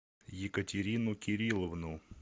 екатерину кирилловну